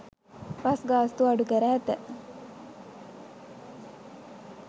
Bus ගාස්තු අඩු කර ඇත.